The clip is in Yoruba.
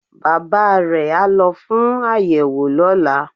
Bàbá re á lo fún àyẹ̀wò lọ́la